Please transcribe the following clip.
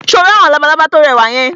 Ṣé o rí àwọn labalábá tí ó rẹwà yẹn?